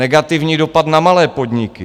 Negativní dopad na malé podniky.